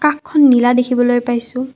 আকাশখন নীলা দেখিবলৈ পাইছোঁ।